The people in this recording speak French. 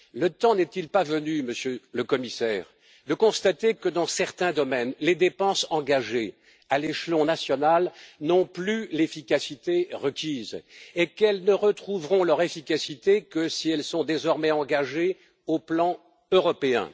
Le temps n'est il pas venu, Monsieur le Commissaire, de constater que, dans certains domaines, les dépenses engagées à l'échelon national n'ont plus l'efficacité requise et qu'elles ne retrouveront leur efficacité que si elles sont désormais engagées sur le plan européen?